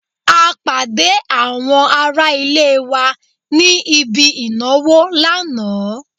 A pàdé àwọn ará ilé wa ní ibi ìnáwó lánàá